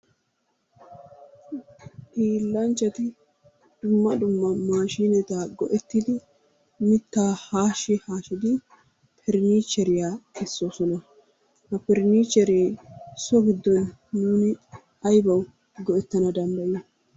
Hiilanchchati dumma dumma maashshineta go"ettidi mittaa haashshi haashshidi faranicheriya kessoosona. Ha faranichere so giddon nuuni aybaw go"ettana danddayiyo?